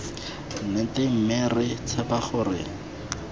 nnete mme re tshepa gore